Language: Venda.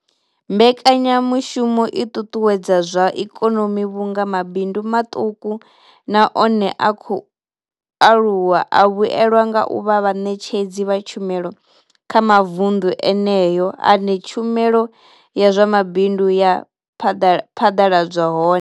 Mbekanya mushumo i ṱuṱuwedza zwa ikonomi vhunga mabindu maṱuku na one a khou aluwa a vhuelwa nga u vha vhaṋetshedzi vha tshumelo kha mavundu eneyo ane tshumelo ya zwa mabindu ya phaḓaladzwa hone.